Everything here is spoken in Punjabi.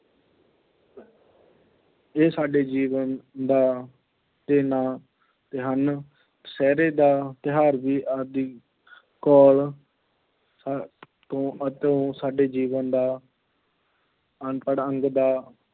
ਇਹ ਸਾਡੇ ਜੀਵਨ ਦਾ ਹਨ, ਦੁਸਹਿਰੇ ਦਾ ਤਿਉਹਾਰ ਵੀ ਆਦਿ ਤੋਂ ਤੋਂ ਸਾਡੇ ਜੀਵਨ ਦਾ ਅੰਤਰ-ਅੰਗ ਦਾ